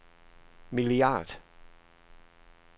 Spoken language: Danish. milliard